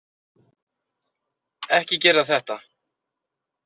Ekki gera þetta.